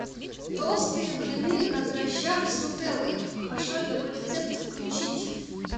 толстые блины на дрожжах с нутеллой пошаговый рецепт включить